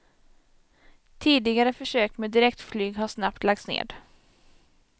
Tidigare försök med direktflyg har snabbt lagts ned.